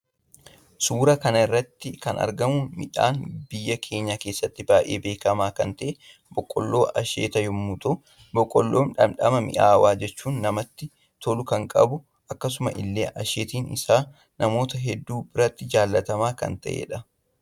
Suuraa kanarratti kan argamu midhaan biyya keenya kessatti baay'ee beekama kan ta'e boqqollo asheeta yommuu ta'uu boqoollon dhamdhama mi'aawaa jechuun namatti tolu kan qabu akkasumas ille asheetni isa namoota hedduu biratti jaallatama kan ta'edha.